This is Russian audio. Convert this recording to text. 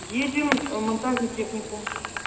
едем в монтажный техникум